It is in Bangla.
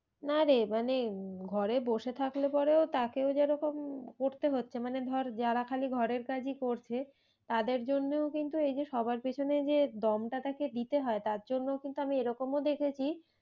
না রে মানে উম ঘরে বসে থাকলে পরেও তাকেও যেরকম করতে হচ্ছে মানে ধর যারা খালি ঘরের কাজই করছে তাদের জন্যেও কিন্তু এই যে সবার পেছনে যে দমটা তাকে দিতে হয় তার জন্য কিন্তু আমি এরকমও দেখেছি,